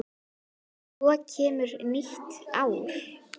Svo kemur nýtt.